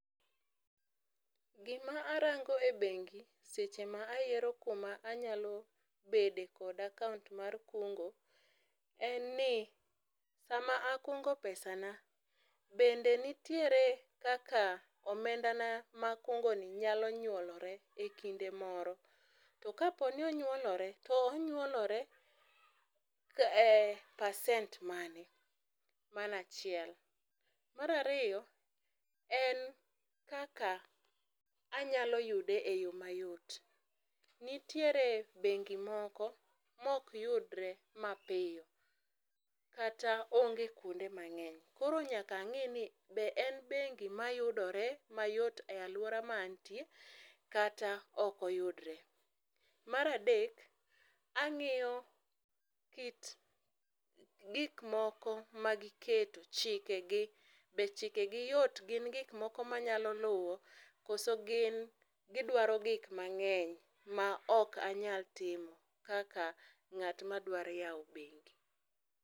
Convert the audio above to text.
Gima arango e begi seche ma ayiero kuma anyalo bede kod akaunt mar kungo en ni sama akungo pesana bende nitiere kaka omendana ma akungoni nyalo nyuolore ekinde moro, to kaponi onyuolore to onyuolore e percent mane? mano achiel. Mar ariyo en kaka anyalo yude e yoo mayot, nitiere bengi moko ma ok yudre mapiyo kata onge kuonde mangeny koro nyaka ange ni be en bengi ma yudore mayot e aluora ma antie kata ok oyudre. Mar adek angiyo kit gik moko ma giketo, chikegi, be chikegi yot gin gik moko ma nyalo luwo koso gin gidwaro gik mangeny maok anyal timo kaka ngat madwaro yao bengi